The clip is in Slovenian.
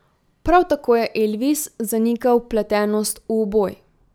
Prav tako je Elvis zanikal vpletenost v uboj.